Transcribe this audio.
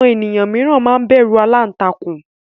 àwọn eniyan miran ma n bẹru àlàntakùn